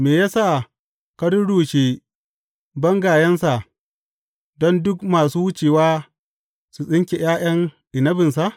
Me ya sa ka rurrushe bangayensa don duk masu wucewa su tsinke ’ya’yan inabinsa?